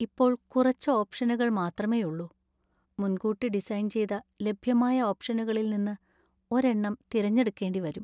ഇപ്പോൾ കുറച്ച് ഓപ്ഷനുകൾ മാത്രമേയുള്ളൂ. മുൻകൂട്ടി ഡിസൈന്‍ ചെയ്ത ലഭ്യമായ ഓപ്ഷനുകളിൽ നിന്ന് ഒരെണ്ണം തിരഞ്ഞെടുക്കേണ്ടി വരും.